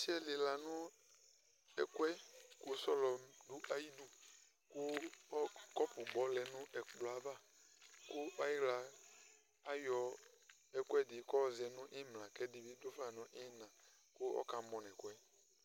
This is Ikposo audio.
Ɔsɩ ƴɛ lɩla nʋ ɛƙʋɛ ,ƙʋ sɔlɔ ɖʋ aƴiɖuƘʋ ƙɔpʋ gbɔ lɛ nʋ ɛƙplɔ ava ,aƴɩɣla aƴɔ ɛƙʋɛɖɩ ƙʋ ɔzɛ nʋ ɩmla, ƙʋ ɛɖɩ bɩ ɖʋfa nʋ ɩhɩna ƙʋ ɔƙa mɔ nʋ ɛkʋɛ